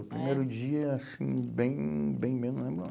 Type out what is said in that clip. É? O primeiro dia, assim, bem, bem mesmo, não lembro não.